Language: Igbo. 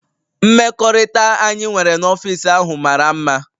Mmekọrịta anyị nwere n'ọfịs ahụ mara mma